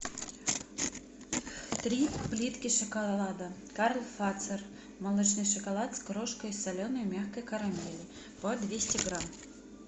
три плитки шоколада карл фацер молочный шоколад с крошкой соленой мягкой карамели по двести грамм